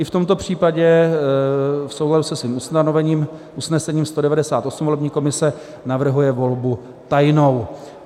I v tomto případě v souladu se svým usnesením 198 volební komise navrhuje volbu tajnou.